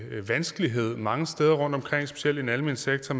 vanskelighed mange steder rundtomkring specielt i den almene sektor